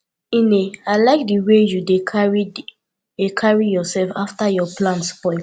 nne i like the way you dey carry dey carry yourself after your plan spoil